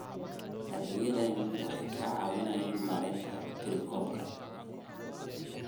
Adeegyadani waxay ka caawiyaan maaraynta tirakoobka.